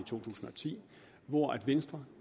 to tusind og ti hvor venstre